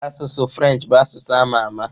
Asụsụ Frenchị bụ asụsụ a ma ama.